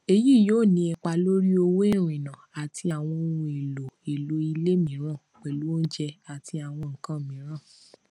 èyí yóò ní ipa lórí owó ìrìnnà àti àwọn ohun èlò èlò ilé mìíràn pẹlú oúnjẹ àti àwọn nkan miiran